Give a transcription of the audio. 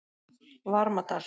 Varmadal